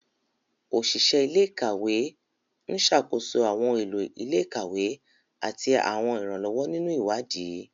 Oṣiṣẹ ile-ikawe n ṣakoso awọn ohun elo ile-ikawe ati awọn iranlọwọ ninu iwadii.